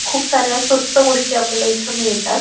खूप साऱ्या स्वस्थ गोष्टी आपल्याला इथ मिळतात.